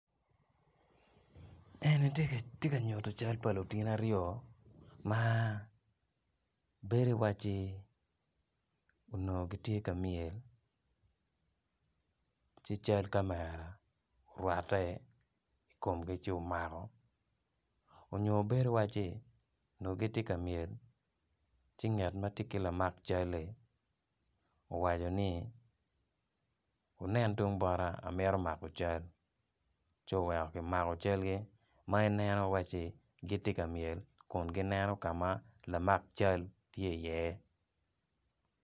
Eni tye ka nyuto cal pa lutini aryo ma bedo iwaci onongo gitye ka myel ci cal kamera orwatte i komgi ci omako onyo bedo iwaci onongo gitye ka myel ci ngat ma tye ki lamak cali owaco ni wunen tung bota amito mako cal ci oweko kimako calgi ma ineno iwaci gitye ka myel kun gineno ka ma lamak cal tye iye.